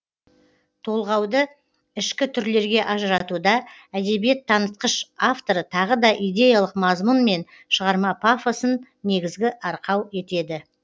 толғауды ішкі түрлерге ажыратуда әдебиет танытқыш авторы тағы да идеялық мазмұн мен шығарма пафосын негізгі арқау етеді